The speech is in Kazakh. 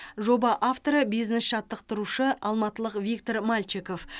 жоба авторы бизнес жаттықтырушы алматылық виктор мальчиков